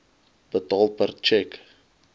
betaal per tjek